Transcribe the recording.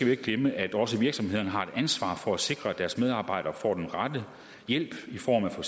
jo ikke glemme at også virksomhederne har et ansvar for at sikre at deres medarbejdere får den rette hjælp i form af for